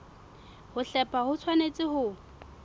ho hlepha ho tshwanetse ho